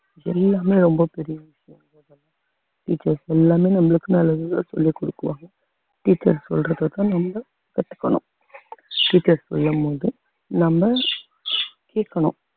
எல்லாமே ரொம்ப பெரிய விஷயம் teachers எல்லாமே நம்மளுக்கு நல்லதுதான் சொல்லிக் கொடுக்குவாங்க teachers சொல்றதைத்தான் நம்ம கத்துக்கணும் teachers சொல்லும் போது நம்ம கேட்கணும்